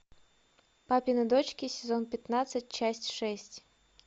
папины дочки сезон пятнадцать часть шесть